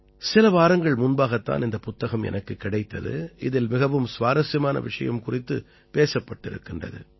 சில வாரங்கள் முன்பாகத் தான் இந்தப் புத்தகம் எனக்குக் கிடைத்தது இதில் மிகவும் சுவாரசியமான விஷயம் குறித்துப் பேசப்பட்டிருக்கிறது